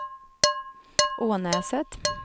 Ånäset